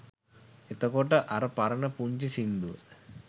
එතකොට අර පරණ පුංචි සින්දුව